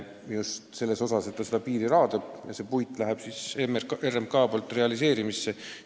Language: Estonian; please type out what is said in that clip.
Jutt oli, et RMK raadab piiriala ja see puit läheb realiseerimisele.